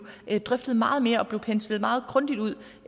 drøftet meget mere og penslet meget